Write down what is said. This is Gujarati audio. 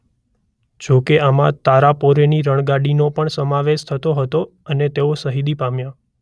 જોકે આમાં તારાપોરેની રણગાડીનો પણ સમાવેશ થતો હતો અને તેઓ શહીદી પામ્યા.